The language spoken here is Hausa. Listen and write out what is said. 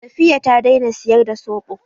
Safiyya ta daina siyar da soɓo.